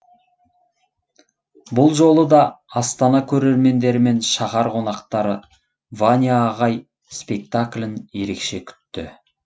бұл жолы да астана көрермендері мен шаһар қонақтары ваня ағай спектаклін ерекше күтті